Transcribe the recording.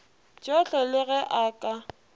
tšohle le ge a ka